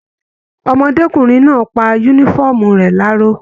Ọmọdékunrin náà pá yúnífọ̀ọ́mù rẹ laró.